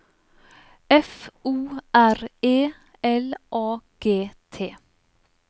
F O R E L A G T